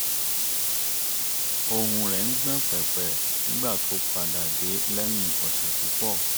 ohùn rẹ̀ ń gbọ̀n pẹ̀pẹ̀ nígbà tó padà dé lẹ́yìn ọ̀sẹ̀ púpọ̀